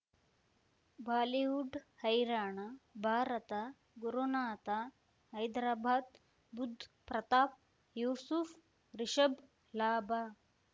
Bollywood ಹೈರಾಣ ಭಾರತ ಗುರುನಾಥ ಹೈದರಾಬಾದ್ ಬುಧ್ ಪ್ರತಾಪ್ ಯೂಸುಫ್ ರಿಷಬ್ ಲಾಭ